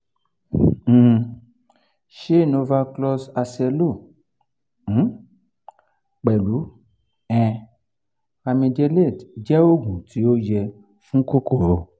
um se novaclox acelo um plus um ranitide je ogun ti o ye fun kokoro